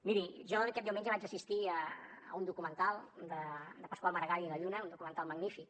miri jo aquest diumenge vaig assistir a un documental de pasqual maragall maragall i la lluna un documental magnífic